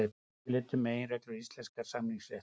Yfirlit um meginreglur íslensks samningaréttar.